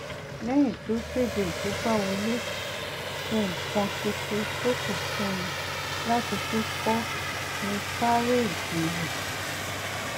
lẹyìn tí ó kede ìkogbàwọlé ohun kan ṣoṣo tó kù fún un láti tún kọ ni kárédì rẹ